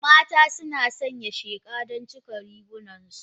Mata suna sanya sheqa don cika rigunansu.